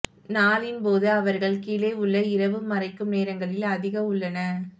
நாளின் போது அவர்கள் கீழே உள்ள இரவு மறைக்கும் நேரங்களில் அதிக உள்ளன